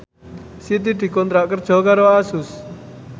Siti dikontrak kerja karo Asus